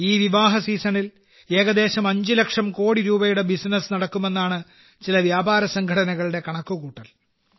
ഈ വിവാഹ സീസണിൽ ഏകദേശം 5 ലക്ഷം കോടി രൂപയുടെ ബിസിനസ് നടക്കുമെന്നാണ് ചില വ്യാപാര സംഘടനകളുടെ കണക്കുകൂട്ടൽ